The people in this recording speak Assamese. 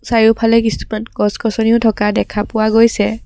চাৰিওফালে কিছুমান গছ গছনিও থকা দেখা পোৱা গৈছে।